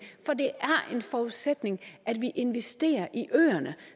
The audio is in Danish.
er en forudsætning at vi investerer i øerne